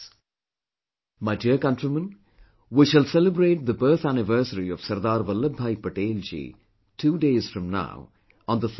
My dear countrymen, we shall celebrate the birth anniversary of Sardar Vallabhbhai Patel ji, two days from now, on the 31st of October